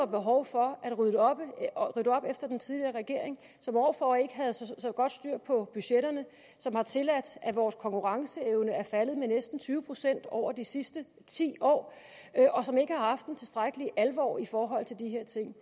behov for at rydde op efter den tidligere regering som år for år ikke havde så godt styr på budgetterne som har tilladt at vores konkurrenceevne er faldet med næsten tyve procent over de sidste ti år og som ikke har haft en tilstrækkelig alvor i forhold til de her ting